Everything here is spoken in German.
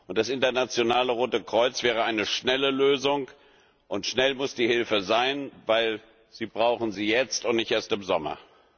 Das Internationale Rote Kreuz wäre eine schnelle Lösung, und schnell muss die Hilfe sein, weil sie sie jetzt brauchen und nicht erst im Sommer.